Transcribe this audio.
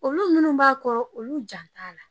Olu minnu b'a kɔrɔ olu jan t'a la